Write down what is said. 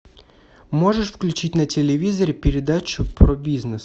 можешь включить на телевизоре передачу про бизнес